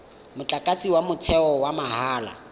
motlakase wa motheo wa mahala